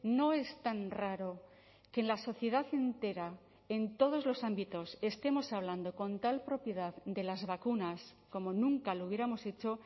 no es tan raro que en la sociedad entera en todos los ámbitos estemos hablando con tal propiedad de las vacunas como nunca lo hubiéramos hecho